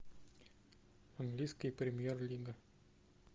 английская премьер лига